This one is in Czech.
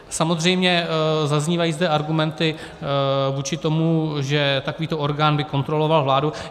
Samozřejmě zaznívají zde argumenty vůči tomu, že takovýto orgán by kontroloval vládu.